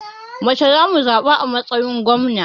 Mace za mu zaɓa a matsayin gwamna.